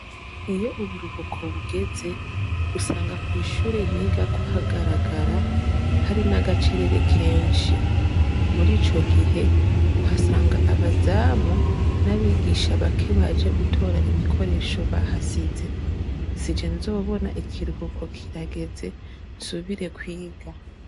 Iyo uburuhuko bugeze usanga kwishure nigako hagaragara hari n'agacerere kenshi murico gihe uhasanga abazamu n'abigisha bake baje gutora ibikoresho bahasize, sije nzobona ikiruhuko kirageze nsubire kwiga.